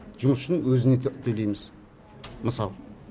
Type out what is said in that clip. жұмысшының өзіне төлейміз мысалға